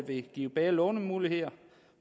vil give bedre lånemuligheder